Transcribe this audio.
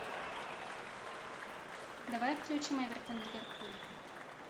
давай включим эвертон ливерпуль